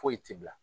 Foyi t'i bila